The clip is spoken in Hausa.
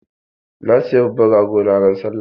Na saya babban rago na Sallah.